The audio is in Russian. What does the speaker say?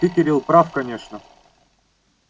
ты кирилл прав конечно